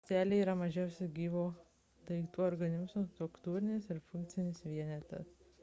ląstelė yra mažiausias gyvo daiktų organizmo struktūrinis ir funkcinis vienetas